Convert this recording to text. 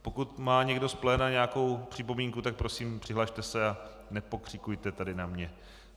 Pokud má někdo z pléna nějakou připomínku, tak prosím, přihlaste se a nepokřikujte tady na mě.